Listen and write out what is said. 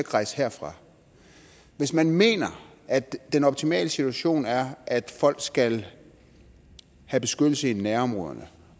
rejse herfra hvis man mener at den optimale situation er at folk skal have beskyttelse i nærområderne